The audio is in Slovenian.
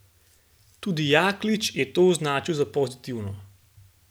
Tudi Jaklič je to označil za pozitivno.